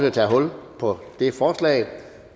at tage hul på det forslag